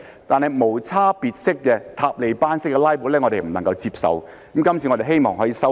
但是，無差別式、"塔利班式"的"拉布"，是我們不能夠接受的，今次我們希望可以把它修正。